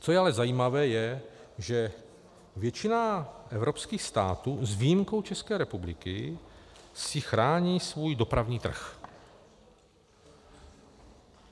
Co je ale zajímavé, je, že většina evropských států - s výjimkou České republiky - si chrání svůj dopravní trh.